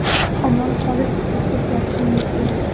Omon qolish uchun o‘zgarishingiz kerak.